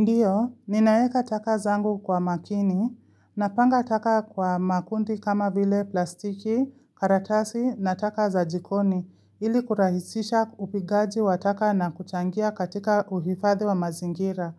Ndiyo, ninaweka taka zangu kwa makini napanga taka kwa makundi kama vile plastiki, karatasi na taka za jikoni ili kurahisisha upigaji wa taka na kuchangia katika uhifadhi wa mazingira.